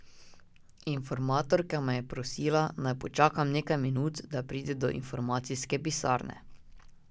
Informatorka me je prosila, naj počakam nekaj minut, da pride do informacijske pisarne.